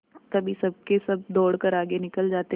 कभी सबके सब दौड़कर आगे निकल जाते